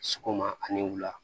Sɔgɔma ani wula